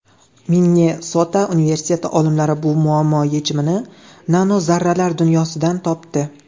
Minnesota universiteti olimlari bu muammo yechimini nanozarralar dunyosidan topdi.